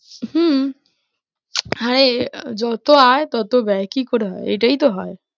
হম হ্যাঁ, যত আয় তত ব্যয় কি করে হয়? এটাই তো হয়।